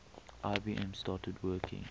ibm started working